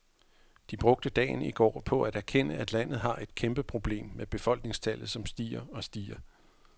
De brugte dagen i går på at erkende, at landet har et kæmpe problem med befolkningstallet, som stiger og stiger.